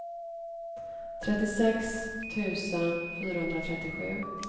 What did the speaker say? trettiosex tusen fyrahundratrettiosju